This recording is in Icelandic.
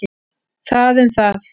Það um það.